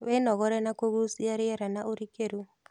Wĩnogore na kũgucia rĩera na ũrikĩru